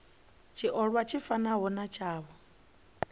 tshiolwa tshi fanaho na tshavho